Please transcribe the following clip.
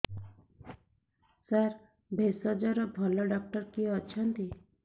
ସାର ଭେଷଜର ଭଲ ଡକ୍ଟର କିଏ ଅଛନ୍ତି